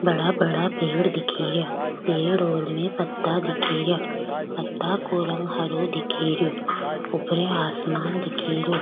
बड़ा बड़ा पेड़ दिखे रिया पेड़ और में पत्ता दिखे रिया पत्ता को रंग हरो दिखे रिया ऊपरे आसमान दिखे रियो।